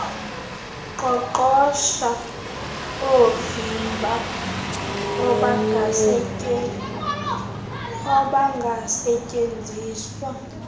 qoqosho oovimba obangasetyenziswa